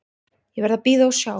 Ég verð að bíða og sjá.